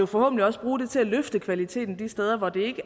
forhåbentlig også bruges til at løfte kvaliteten de steder hvor det